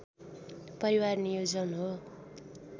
परिवार नियोजन हो